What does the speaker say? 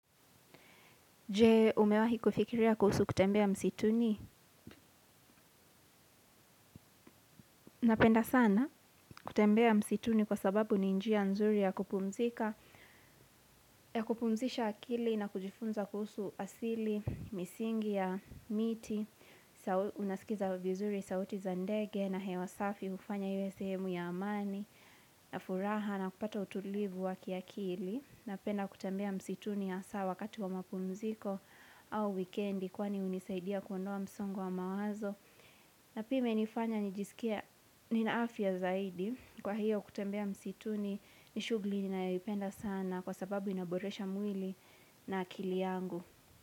Jee, umewahi kufikiria kuhusu kutembea msituni? Napenda sana kutembea msituni kwa sababu ni njia nzuri ya kupumzika, ya kupumzisha akili na kujifunza kuhusu asili, misingi ya miti, unasikiza vizuri sauti za ndege na hewa safi hufanya iwe sehemu ya amani, na furaha na kupata utulivu wakiakili. Napenda kutembea msituni hasaa wakati wa mapumziko au wikendi kwani hunisaidia kuondoa msongo wa mawazo. Na pia imenifanya nijisikia nina afya zaidi kwa hiyo kutembea msituni ni shugli ninaipenda sana kwa sababu inaboresha mwili na akili yangu.